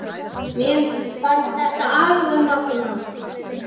Mér fannst þetta alveg magnað.